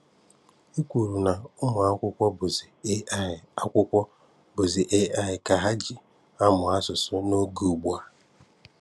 E kwùrù na ụmụ akwụkwọ bụzị AI akwụkwọ bụzị AI ka ha ji amụ asụsụ n’oge ugbua.